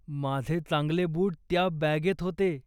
माझे चांगले बूट त्या बॅगेत होते.